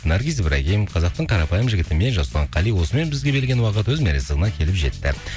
наргиз ибрагим қазақтың қарапайым жігіті мен жасұлан қали осымен бізге берілген уақыт өз мәресіне келіп жетті